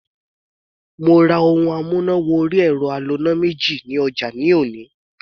Mo ra ohun amúnà wọrí ẹ̀rọ aloná méjì ní ọjà ní òní.